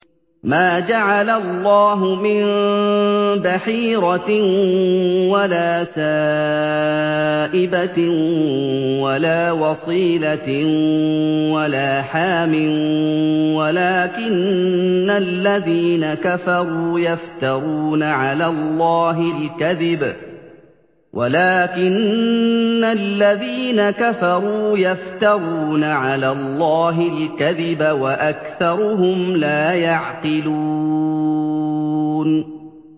مَا جَعَلَ اللَّهُ مِن بَحِيرَةٍ وَلَا سَائِبَةٍ وَلَا وَصِيلَةٍ وَلَا حَامٍ ۙ وَلَٰكِنَّ الَّذِينَ كَفَرُوا يَفْتَرُونَ عَلَى اللَّهِ الْكَذِبَ ۖ وَأَكْثَرُهُمْ لَا يَعْقِلُونَ